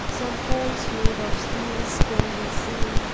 some pools made of steels can be seen.